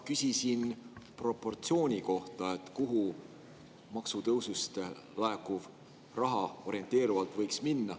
Küsisin proportsiooni kohta, kuhu maksutõusust laekuv raha orienteerivalt võiks minna.